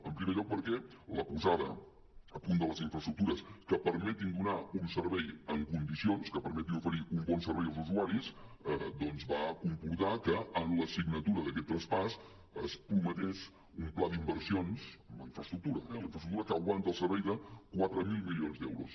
en primer lloc perquè la posada a punt de les infraestructures que permetin donar un servei en condicions que permetin oferir un bon servei als usuaris doncs va comportar que en la signatura d’aquest traspàs es prometés un pla d’inversions en la infraestructura eh la infraestructura que aguanta el servei de quatre mil milions d’euros